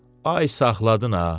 Ay saxladın ha.